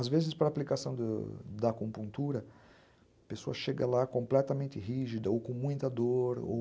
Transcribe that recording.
Às vezes, para a aplicação da da acupuntura, a pessoa chega lá completamente rígida, ou com muita dor...